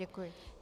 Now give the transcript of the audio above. Děkuji.